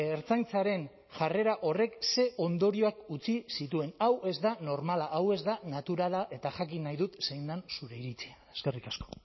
ertzaintzaren jarrera horrek ze ondorioak utzi zituen hau ez da normala hau ez da naturala eta jakin nahi dut zein den zure iritzia eskerrik asko